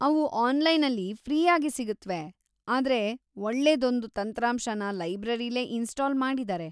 ಅವು ಆನ್ಲೈನಲ್ಲಿ ಫ್ರೀಯಾಗಿ ಸಿಗತ್ವೆ, ಆದ್ರೆ ಒಳ್ಳೇದೊಂದು ತಂತ್ರಾಂಶನ ಲೈಬ್ರರಿಲೇ ಇನ್ಸ್ಟಾಲ್‌ ಮಾಡಿದಾರೆ.